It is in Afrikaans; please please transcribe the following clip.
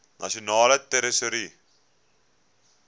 nasionale tesourie